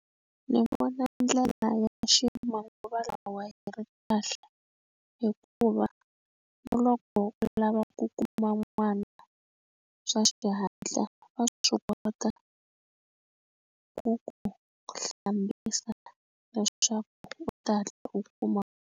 Ndzi vona ndlela ya ximanguva lawa yi ri kahle hikuva na loko u lava ku kuma n'wana swa xihatla va swi kota ku ku hlambisa leswaku u ta hatla u kuma.